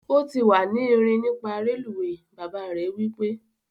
O ti wa ni rin nipa reluwe! baba re wipe